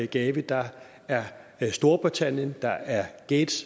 gavi der er storbritannien der er gates